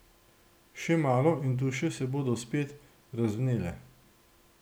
Še malo in duše se bodo spet razvnele.